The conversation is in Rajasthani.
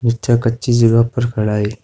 नीचे कच्ची जगह पर खड़ा है।